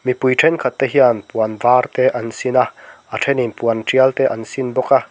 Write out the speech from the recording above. mipui thenkhat te hian puan var te an sin a a thenin puan tial te an sin bawk a.